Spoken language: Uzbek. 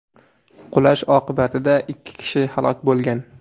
Qulash oqibatida ikki kishi halok bo‘lgan.